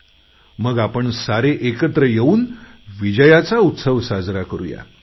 आणि मग आपण सारे एकत्र येऊन विजयाचा उत्सव साजरा करू